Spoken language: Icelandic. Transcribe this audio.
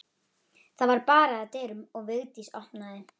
Það var barið að dyrum og Vigdís opnaði.